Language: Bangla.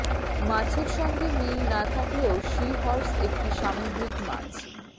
মাছের সঙ্গে মিল না থাকলেও সি হর্স একটি সামুদ্রিক মাছ